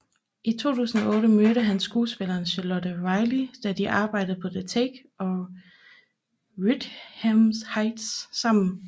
I 2008 mødte han skuespilleren Charlotte Riley da de arbejdede på The Take og Wuthering Heights sammen